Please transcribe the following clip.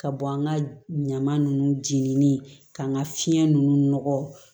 Ka bɔ an ka ɲaman nunnu jeninen k'an ka fiɲɛ ninnu nɔgɔ